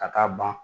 Ka taa ban